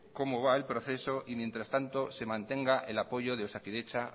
cómo va el proceso y mientras tanto se mantenga el apoyo de osakidetza